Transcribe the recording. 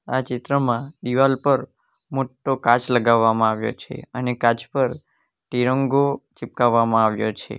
આ ચિત્રમાં દિવાલ પર મોટો કાચ લગાવવામાં આવ્યો છે અને કાચ પર તિરંગો ચિપકાવવામાં આવ્યો છે.